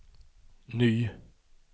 ny